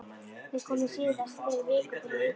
Þau komu síðast fyrir viku til að líta hann augum.